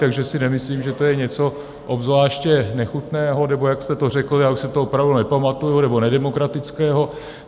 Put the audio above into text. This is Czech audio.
Takže si nemyslím, že to je něco obzvláště nechutného, nebo jak jste to řekl, já už si to opravdu nepamatuju, nebo nedemokratického.